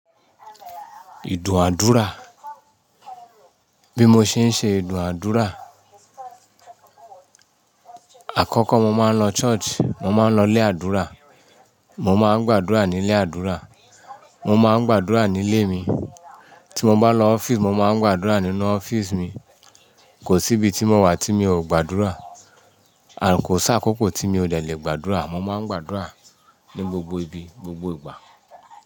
Ìdúnàádúrà, bí mo ṣe ń ṣe ìdúnàádúrà. Àkọ́kọ́ mo máa ń lọ church, mo máa ń lọ ilé àdúrà, mo máa ń gbàdúrà ní ilé àdúrà, mo máa ń gbàdúrà nílé mi. Tí mo bá lọ office, mo máa ń gbàdúrà nínú office mi. Kò sí ibi tí mo wà tí mi ò gbàdúrà. Kò sí àkókò tí mi ò de lè gbàdúrà. Mo máa ń gbàdúrà ní gbogbo ibi, gbogbo ìgbà.